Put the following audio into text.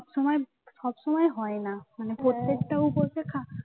সব সময় সব সময় হয় না মানে প্রত্যেকটা উপসে খা